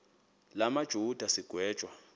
la majuda sigwetywa